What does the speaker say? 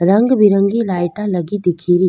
रंगी बिरंगी लाइटा लगी दिखे री।